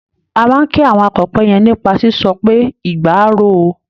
A máa kí àwọn akọ̀pẹ yẹn nípa sísọ pé "igba á ro o".